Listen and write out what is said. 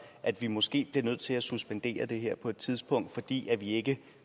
at vi måske bliver nødt til at suspendere det her på et tidspunkt fordi vi ikke